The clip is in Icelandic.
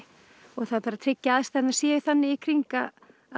það þarf að tryggja að aðstæðurnar séu þannig í kring að